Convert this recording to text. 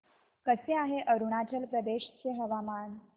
कसे आहे अरुणाचल प्रदेश चे हवामान